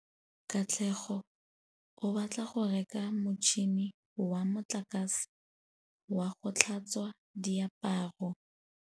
Katlego o batla go reka motšhine wa motlakase wa go tlhatswa diaparo.